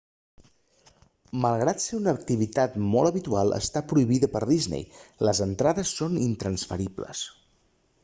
malgrat ser una activitat molt habitual està prohibida per disney les entrades són intransferibles